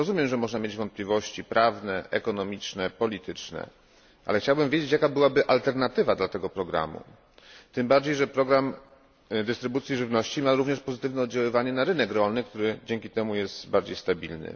Rozumiem, że można mieć wątpliwości prawne, ekonomiczne, polityczne, ale chciałbym wiedzieć, jaka byłaby alternatywa dla tego programu, tym bardziej, że program dystrybucji żywności ma również pozytywne oddziaływanie na rynek rolny, który dzięki temu jest bardziej stabilny.